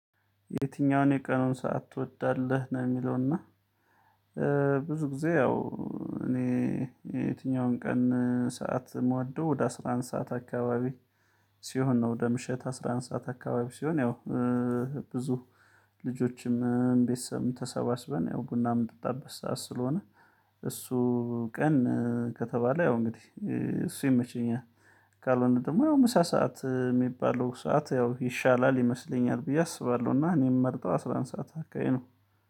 የትኛውን የቀኑን ሰዓት ትወዳለህ ነው? የሚለውና ብዙ ጊዜ ያው እኔ የትኛውን ቀን ሰዓት ምወዶው ወደ አስራ አንድ ሰዓት አካባቢ ሲሆን ነው ወደ ምሽት አስራ አንድ ሰዓት አካባቢ ሲሆን ያው ብዙ ልጆችም ቤተሰብም ተሰባስበን ያው ቡና ምንጠጣበት ሰዓት ስለሆነ እሱ ቀን ከተባለ ያው እንግዲህ እሱ ይመቸኛል። ካልሆነ ደግሞ ያው ምሳ ሰዓት የሚባለው ሰዓት ያው ይሻላል ይመስለኛል ብዬ አስባለሁና እኔም ምመርጠው ስለንሳት አካሄድ ነው